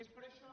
és per això